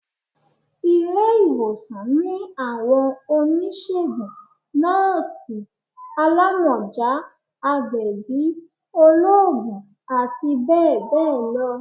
ilé-iwósàn ni awọn onisegún, nọọsi, àlámọjá, àgbẹbí, olóògùn ati bẹbẹ lọ